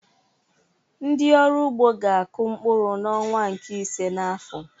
Ndị ọrụ ugbo ga-akụ mkpụrụ n'ọnwa nke ise n'afọ